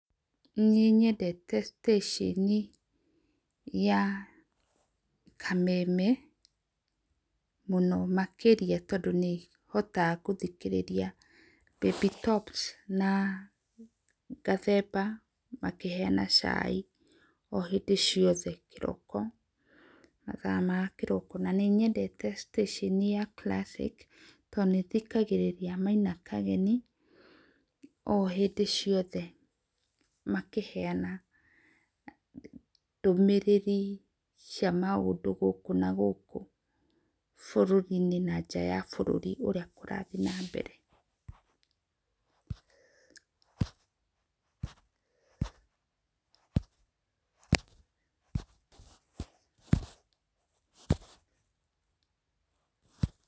Nĩ nyendete stacĩni ya kameme mũno makĩria tondũ nĩ hotaga gũthikĩrĩria Baby Top na Gathemba makĩheana chai o hĩndĩ ciothe kĩroko, mathaa ma kĩroko, na nĩ nyendete stacĩni ya Classic tondũ nĩ thikagĩrĩria Maina Kageni o hĩndĩ ciothe makĩheana ndũmĩrĩri cia maũndũ gũkũ na gũkũ bũrũri-inĩ na nja ya bũrũri ũrĩa kũrathiĩ na mbere.